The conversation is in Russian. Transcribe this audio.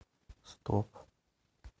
стоп